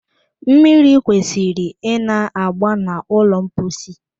Mmiri kwesịrị ịna-agba n'ụlọ mposi